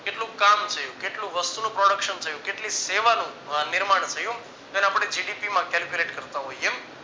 કેટલું ક કામ છે કેટલું વસ્તુનું production થયું. કેટલી સેવાનું નિર્માણ થયું તેને આપણે gdp માં calculate કરતા હોઈએ